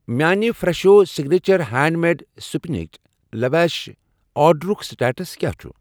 میانہِ فرٛٮ۪شو signature hand made spinach lavash آرڈرُک سٹیٹس کیٚاہ چھ؟